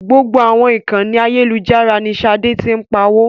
Gbogbo àwọn ìkànì ayélujára ní Ṣadé ti ń pawó.